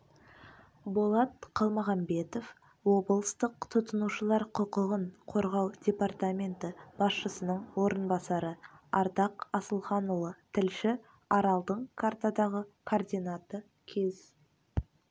болат қалмағанбетов облыстық тұтынушылар құқығын қорғау департаменті басшысының орынбасары ардақ асылханұлы тілші аралдың картадағы координаты кез